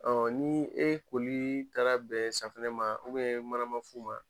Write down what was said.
ni e kolii taara bɛ safinɛ ma manamafu ma